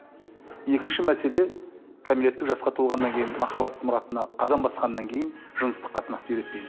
екінші мәселе кәмелеттік жасқа толғаннан кейін махаббат мұратына қадам басқаннан кейін жыныстық қатынасты үйретпеймін